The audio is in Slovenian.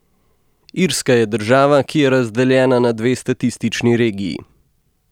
Irska je država, ki je razdeljena na dve statistični regiji.